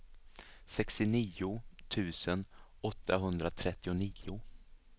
sextionio tusen åttahundratrettionio